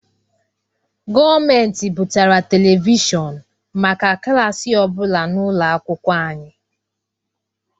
Gọọmentị butere televishọn maka klaasị ọbụla n;ụlọ akwụkwọ anyị.